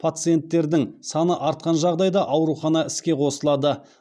пациенттердің саны артқан жағдайда аурухана іске қосылады